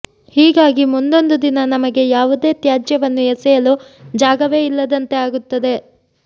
ಹೀಗಾಗಿ ಮುಂದೊಂದು ದಿನ ನಮಗೆ ಯಾವುದೇ ತ್ಯಾಜ್ಯವನ್ನು ಎಸೆಯಲು ಜಾಗವೇ ಇಲ್ಲದಂತೆ ಆಗುತ್ತದೆ